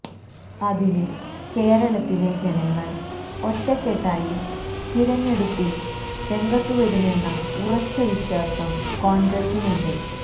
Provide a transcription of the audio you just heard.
അതിന് കേരളത്തിലെ ജനങ്ങള് ഒറ്റെക്കെട്ടായി തിരഞ്ഞെടുപ്പില് രംഗത്തുവരുമെന്ന ഉറച്ച വിശ്വാസം കോണ്ഗ്രസിനുണ്ട്